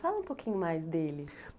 Fala um pouquinho mais dele.